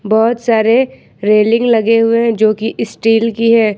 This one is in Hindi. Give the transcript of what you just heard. बहोत सारे रेलिंग लगे हुए हैं जो की स्टील की है।